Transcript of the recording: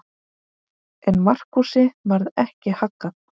En Markúsi varð ekki haggað.